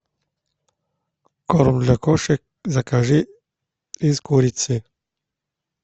корм для кошек закажи из курицы